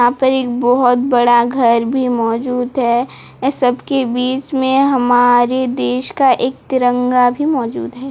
यहां पर एक बहोत बड़ा घर भी मौजूद है इस सब के बीच में हमारे देश का एक तिरंगा भी मौजूद है।